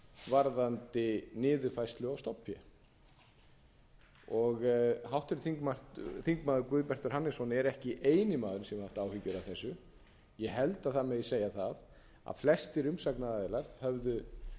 varðandi niðurfærslu á stofnfé háttvirtir þingmenn guðbjartur hannesson er ekki eini maðurinn sem hefur haft áhyggjur af þessu ég held að það megi segja að flestir umsagnaraðilar höfðu